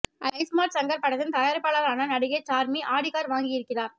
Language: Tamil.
ஐ ஸ்மார்ட் சங்கர் படத்தின் தயாரிப்பாளரான நடிகை சார்மி ஆடி கார் வாங்கி இருக்கிறார்